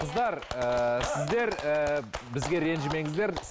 қыздар ііі сіздер ііі бізге ренжімеңіздер